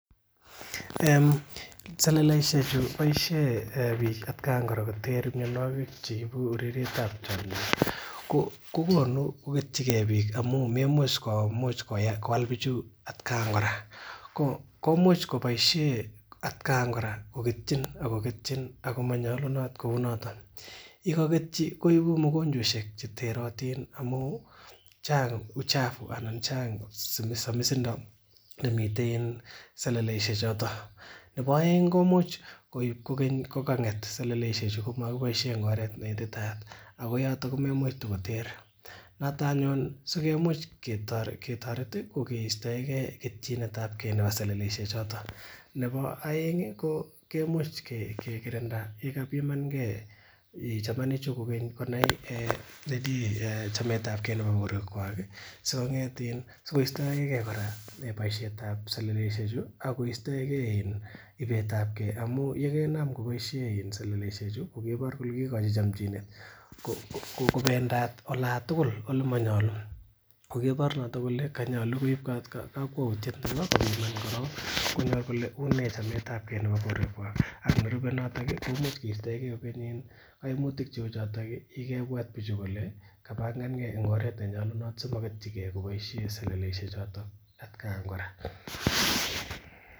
Seleleisiek chu boishen bik at kan kora kotere mianogig cheibu urerietab chamyeet ko konu koketyike bik amu maimuch koal bichu at kan kora komuch kobaishe atkan kora koketyin Ako ketyin akomanyalunot kouu noton. Yekaketeyi koibu mokonychwaisiek cheter amuun Chang uchafu anan Chang samisindo nemiten seleleisiek choto nebo aeng komuch koib kokeny koganget seleleisiek chu ingomakibaishen en oret nenyalu akoyato komaimuch koter noton anyun asikomuch kotaret ih asikoistaeke ketyinetabke . Nebo aeng komuch kekirnda chamanik chu konai chametabke nebo borwekuag ih sikostaege kora boisiet tab seleleisiek chu Ako ibetabke amuun yeinaam kobaishe seleleisiek chu en ibetabke kobaishe yebor kole kaigochi chamchinet kobendat olan tugul ago manyalu kokaibor noton kole une chametabke ak nerube nato kaimutik cheuu choton kobangan ge en oret nenyalunot kobaishien seleleisiek choton kora